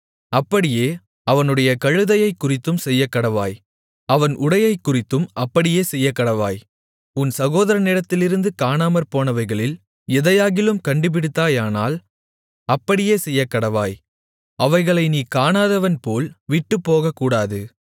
அப்படியே அவனுடைய கழுதையைக்குறித்தும் செய்யக்கடவாய் அவன் உடையைக்குறித்தும் அப்படியே செய்யக்கடவாய் உன் சகோதரனிடத்திலிருந்து காணாமற்போனவைகளில் எதையாகிலும் கண்டுபிடித்தாயானால் அப்படியே செய்யக்கடவாய் அவைகளை நீ காணாதவன் போல் விட்டுப்போகக்கூடாது